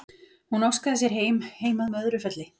Hún óskaði sér heim, heim að Möðrufelli.